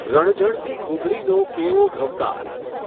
રણઝણતી ઘૂઘરીનો કેવો ઘમકાર.